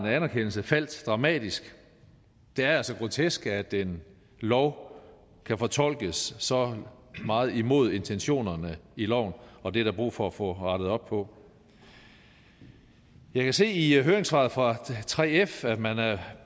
anerkendelse faldt dramatisk det er altså grotesk at en lov kan fortolkes så meget imod intentionerne i loven og det er der brug for at få rettet op på jeg kan se i høringssvaret fra 3f at man er